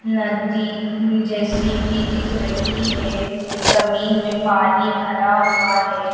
नदी जैसी भी दिख रही है जमीन में पानी भरा हुआ है।